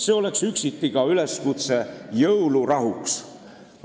See oleks üksiti ka üleskutse jõulurahuks.